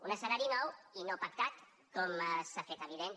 un escenari nou i no pactat com s’ha fet evident